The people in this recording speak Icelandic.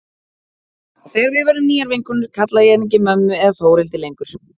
Og þegar við verðum nýjar vinkonur kalla ég hana ekki mömmu eða Þórhildi lengur.